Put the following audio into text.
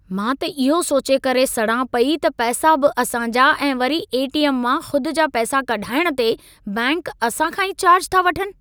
मां त इहो सोचे करे सड़ां पई त पैसा बि असां जा ऐं वरी ए.टी.एम. मां ख़ुद जा पैसा कढाइणु ते बैंक असां खां ई चार्ज था वठनि।